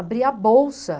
Abria a bolsa.